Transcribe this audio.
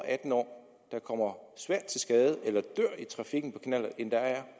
atten år der kommer svært til skade eller dør i trafikken på knallert end der er